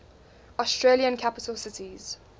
australian capital cities